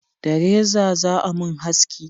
Da reza za a mun haski